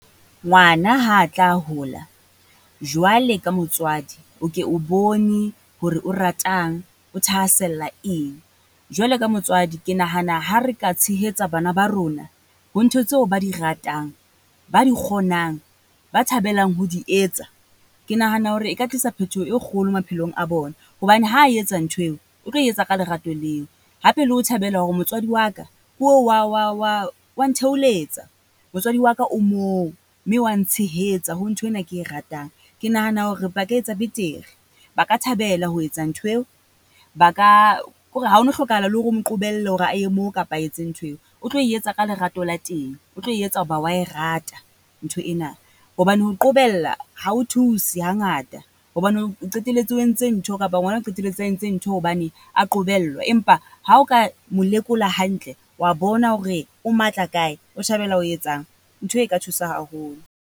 Ngwana ha a tla hola jwale ka motswadi, o ke bone hore o ratang, o thahasella eng. Jwale ka motswadi ke nahana ha re ka tshehetsa bana ba rona, ho ntho tseo ba di ratang, ba di kgonang, ba thabelang ho di etsa. Ke nahana hore e ka tlisa phetoho e kgolo maphelong a bona. Hobane ha e etsa ntho eo, o tlo e etsa ka lerato leo. Hape le ho thabela hore motswadi wa ka ko oo wa wa wa o wa ntheoletsa. Motswadi wa ka o moo mme wa ntshehetsa ho nthwena ke e ratang. Ke nahana hore ba ka etsa betere, ba ka thabela ho etsa nthweo, ba ka, kore ha o no hlokahala le hore o mo qobelle hore a ye moo kapa a etse ntho eo. O tlo e etsa ka lerato la teng, o tlo e etsa ho ba wa e rata ntho ena. Hobane ho qobella ha jo thuse ha ngata, hobane o qetelletse o entse ntho kapa ngwana a qetelletse a entse ntho hobane a qobellwa. Empa ha o ka mo lekola hantle, wa bona hore o matla kae, o thabela o etsang. Ntho eo e ka thusa haholo.